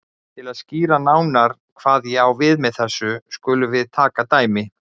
Til að skýra nánar hvað ég á við með þessu skulum við taka dæmi